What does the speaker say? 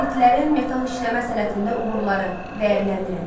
İskitlərin metal işləmə sənətində uğurları, dəyərləndirin.